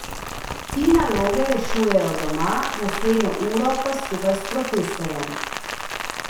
Ti naloge rešujejo doma, naslednjo uro pa skupaj s profesorjem.